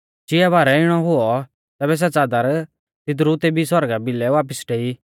चिआ बारै इणौ हुऔ तैबै सै च़ादर तिदरु तेबी सौरगा भिलै वापिस डेई